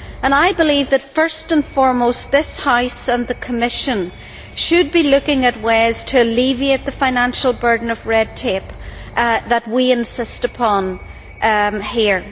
I believe that, first and foremost, this House and the Commission should be looking at ways to alleviate the financial burden of the red tape that we insist upon here.